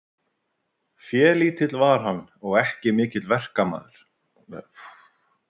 Félítill var hann og ekki mikill verkmaður.